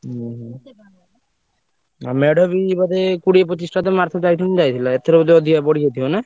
ଓହୋ ଆଉ ମେଢ ବି ବୋଧେ କୋଡିଏ ପଚିଶିଟା ତ ଆରଥର ଯାଇଥିଲା ଏଥର ବୋଧେ ଅଧିକା ନା?